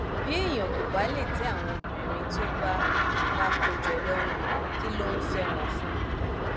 bí èèyàn kò bá lè tẹ àwọn obìnrin tó bá bá kó jọ lọrùn kí ló ń fẹ wọn fún